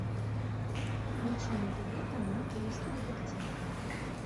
включи на тв канал русский детектив